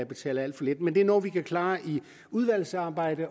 betaler alt for lidt men det er noget vi kan klare i udvalgsarbejdet